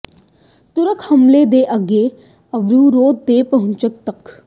ਤੁਰਕ ਹਮਲੇ ਦੇ ਅੱਗੇ ਅਵਰੁ ਗੋਤ ਦੇ ਪਹੁੰਚਣ ਤੱਕ